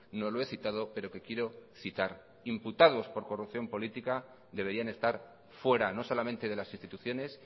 no lo he citado pero que quiero citar imputados por corrupción política deberían estar fuera no solamente de las instituciones